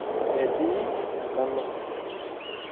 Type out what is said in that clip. Metii enkano.